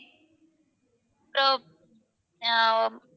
அப்பறம் அஹ்